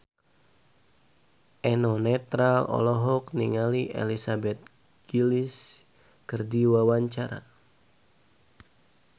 Eno Netral olohok ningali Elizabeth Gillies keur diwawancara